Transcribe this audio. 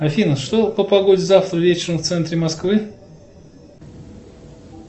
афина что по погоде завтра вечером в центре москвы